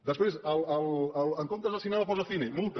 després en comptes de cinema posa cine multa